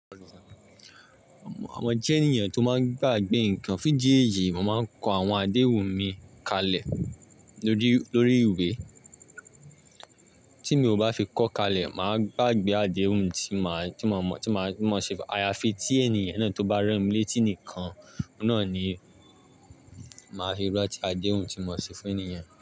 Mo jẹ́ èeyàn tó máa ń gbàgbé nǹkan. Fún idi eyii, mo máa ń kọ àwọn àdéhùn mi kalẹ̀ lórí, lórí ìwé. Tí mi ò bá fi kọ́ kalẹ̀, mà á gbàgbé àdéhùn tí mà á, tí mo mọ, tí mà á, tí mo ṣe fún. Àyàfi tí ènìyàn náà tó bá rán mi létí nìkan, mo náà ni màá fi ranti déhùn tí mo ṣe fún ènìyàn.